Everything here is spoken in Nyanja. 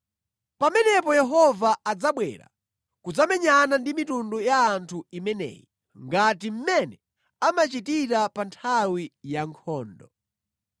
Pamenepo Yehova adzabwera kudzamenyana ndi mitundu ya anthu imeneyi, ngati mmene amachitira pa nthawi ya nkhondo.